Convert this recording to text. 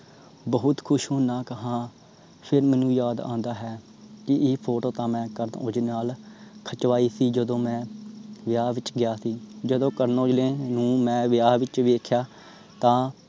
ਬਹੁਤ ਖੁਸ਼ ਹੁਨਾਂ ਹਾਂ। ਫਿਰ ਮੈਨੂੰ ਯਾਦ ਆਂਦਾ ਹੈ। ਕਿ ਇਹ photo ਤਾਂ ਮੈਂ ਕਰਨ ਔਜਲੇ ਨਾਲ ਖਿਚਵਾਈ ਸੀ ਜਦੋ ਮੈਂ ਵਿਆਹ ਵਿਚ ਗਿਆ ਸੀ। ਜਦੋ ਕਰਨ ਔਜਲੇ ਨੂੰ ਮੈਂ ਵਿਆਹ ਵਿਚ ਵੇਖਿਆ ਤਾਂ